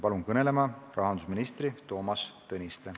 Palun kõnelema rahandusminister Toomas Tõniste.